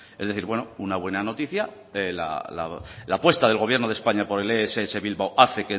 es decir bueno una buena noticia la apuesta del gobierno de españa por el ess bilbao hace